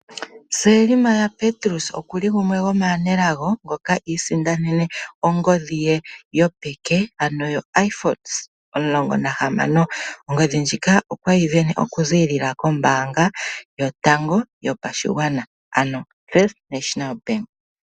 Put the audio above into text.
Selma Petrus okuli gumwe gomaanelago ngoka iisindanene ongodhi ye yopeke, ano yoIphone16. Ongodhi ndjika okweyi sindana okuziilila kombaanga yotango yopashigwana, ano koFirst National Bank.